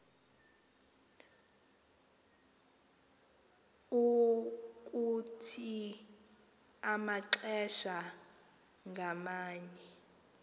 ukuthi amaxesha ngamanye